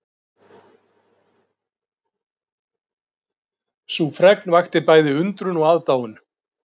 Sú fregn vakti bæði undrun og aðdáun